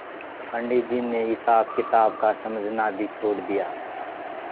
पंडित जी ने हिसाबकिताब का समझना भी छोड़ दिया